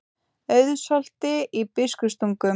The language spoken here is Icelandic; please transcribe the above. Auðsholti í Biskupstungum.